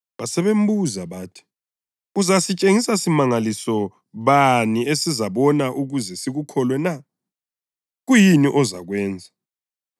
Basebembuza bathi, “Uzasitshengisa simangaliso bani esizasibona ukuze sikukholwe na? Kuyini ozakwenza?